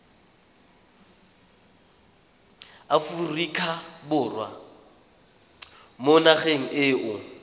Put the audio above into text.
aforika borwa mo nageng eo